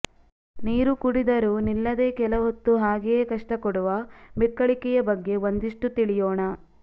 ನೀರು ಕುಡಿದರೂ ನಿಲ್ಲದೆ ಕೆಲ ಹೊತ್ತು ಹಾಗೆಯೇ ಕಷ್ಟ ಕೊಡುವ ಬಿಕ್ಕಳಿಕೆಯ ಬಗ್ಗೆ ಒಂದಿಷ್ಟು ತಿಳಿಯೋಣ